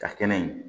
Ka kɛnɛ in